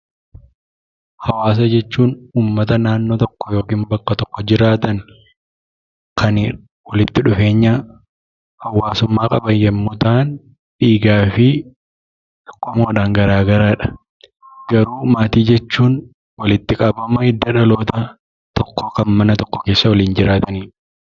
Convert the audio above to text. Hawaasa jechuun uummata naannoo tokko yookiin bakka tokko jiraatan, kan walitti dhufeenya hawaasummaa qaban yommuu ta'an, dhiigaa fi qomoodhaan garaa garadha. Garuu maatii jechuun walitti qabama hidda dhaloota tokkoo kan mana tokko keessa waliin jiraatanidha.